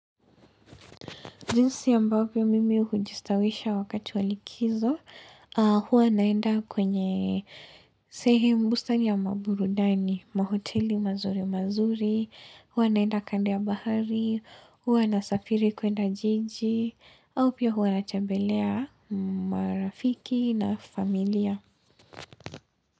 Jinsi ambavyo mimi hujistawisha wakati wa likizo, huwa naenda kwenye sehemu bustani ya maburudani, mahoteli mazuri mazuri, hua naenda kando ya bahari, hua na safiri kuenda jiji, au pia hua na tembelea marafiki na familia.